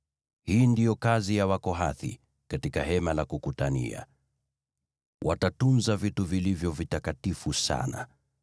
“Hii ndiyo kazi ya Wakohathi katika Hema la Kukutania: Watatunza vitu vilivyo vitakatifu sana.